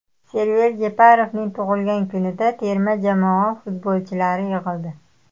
Server Jeparovning tug‘ilgan kunida terma jamoa futbolchilari yig‘ildi.